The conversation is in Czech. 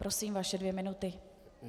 Prosím, vaše dvě minuty.